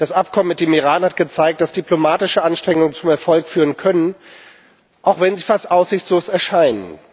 Das Abkommen mit dem Iran hat gezeigt, dass diplomatische Anstrengungen zum Erfolg führen können, auch wenn sie fast aussichtlos erscheinen.